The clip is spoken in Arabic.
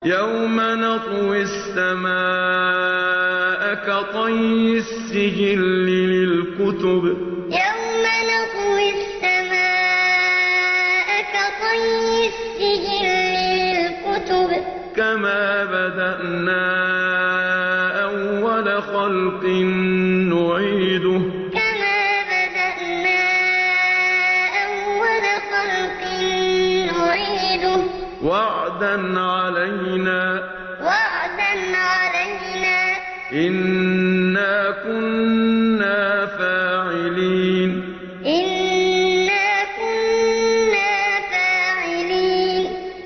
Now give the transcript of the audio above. يَوْمَ نَطْوِي السَّمَاءَ كَطَيِّ السِّجِلِّ لِلْكُتُبِ ۚ كَمَا بَدَأْنَا أَوَّلَ خَلْقٍ نُّعِيدُهُ ۚ وَعْدًا عَلَيْنَا ۚ إِنَّا كُنَّا فَاعِلِينَ يَوْمَ نَطْوِي السَّمَاءَ كَطَيِّ السِّجِلِّ لِلْكُتُبِ ۚ كَمَا بَدَأْنَا أَوَّلَ خَلْقٍ نُّعِيدُهُ ۚ وَعْدًا عَلَيْنَا ۚ إِنَّا كُنَّا فَاعِلِينَ